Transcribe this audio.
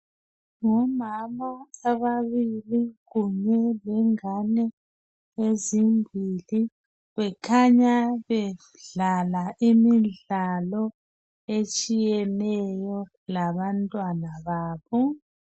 Ngomama ababili kunye lengane ezimbili bekhanya bedlala imidlalo etshiyeneyo labantwana babo